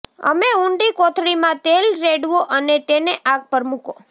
અમે ઊંડી કોથળીમાં તેલ રેડવું અને તેને આગ પર મૂકો